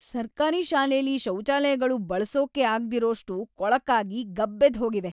ಸರ್ಕಾರಿ ಶಾಲೆಲಿ ಶೌಚಾಲಯಗಳು ಬಳ್ಸೋಕೇ ಆಗ್ದಿರೋಷ್ಟು ಕೊಳಕಾಗಿ, ಗಬ್ಬೆದ್ದ್‌ಹೋಗಿವೆ.